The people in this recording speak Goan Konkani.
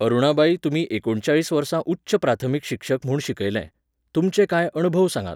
अरुणाबाई तुमी एकुणचाळीस वर्सां उच्च प्राथमीक शिक्षक म्हूण शिकयलें. तुमचे कांय अणभव सांगात